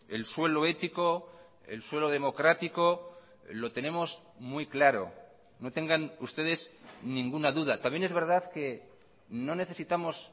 el suelo ético el suelo democrático lo tenemos muy claro no tengan ustedes ninguna duda también es verdad que no necesitamos